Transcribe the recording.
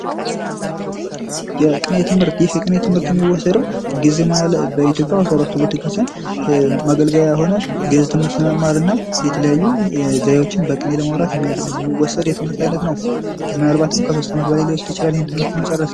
የቅኔ ትምህርት፦ ይህ የቅኔ የትምህርት የሚወሰደው በኢትዮጵያ ኦርቶዶክስ ቤተክርስቲያን ማገልገያ ይሆናል። ግእዝ ትምህርት ለመማርና የተለያዩ ዘየወችን በቅኔ ለማውራት የሚወሰድ የትምህርት አይነት ነው ምናልባትም ከ 3 አመት በላይ ሊወስድ ይችላል ይህን ትምህርት ለመጨረስ።